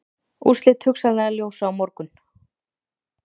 Úrslit hugsanlega ljós á morgun